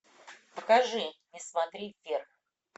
покажи не смотри вверх